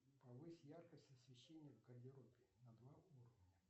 повысь яркость освещения в гардеробе на два уровня